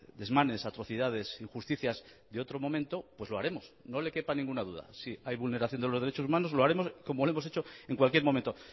desmanes atrocidades injusticias de otro momento pues lo haremos no le quepa ninguna duda si hay vulneración de los derechos humanos lo haremos como lo hemos echo en cualquier momento